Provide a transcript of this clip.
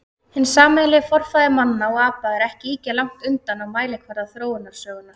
Hinn sameiginlegi forfaðir manna og apa er ekki ýkja langt undan á mælikvarða þróunarsögunnar.